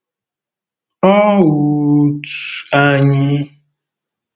Ọ́ u u u ut`anyị?